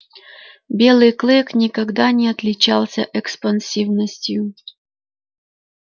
белый клык никогда не отличался экспансивностью